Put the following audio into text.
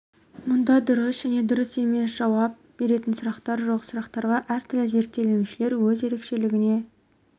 мұнда дұрыс және дұрыс емес деп жауап беретін сұрақтар жоқ сұрақтарға әр түрлі зерттелінушілер өз ерекшелігіне